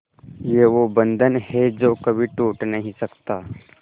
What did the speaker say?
ये वो बंधन है जो कभी टूट नही सकता